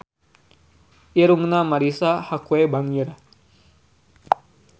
Irungna Marisa Haque bangir